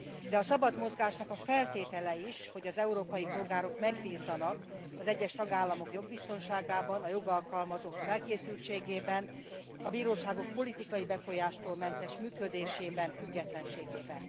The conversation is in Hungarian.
De a szabad mozgásnak feltétele az is, hogy az európai polgárok bízzanak az egyes tagállamok jogbiztonságában, a jogalkalmazók felkészültségében, a bíróságok politikai befolyástól mentes működésében, függetlenségében.